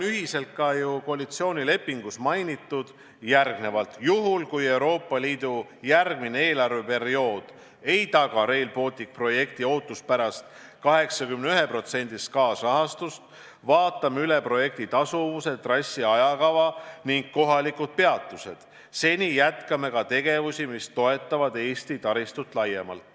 Ka koalitsioonilepingus on ju mainitud, et juhul, kui Euroopa Liidu järgmine eelarveperiood ei taga Rail Balticu projekti ootuspärast 81%-list kaasrahastust, siis vaatame projekti tasuvuse, trassi, ajakava ning kohalikud peatused üle, seni aga jätkame tegevusi, mis toetavad Eesti taristut laiemalt.